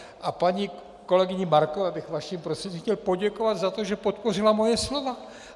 A paní kolegyni Markové bych vaším prostřednictvím chtěl poděkovat za to, že podpořila moje slova.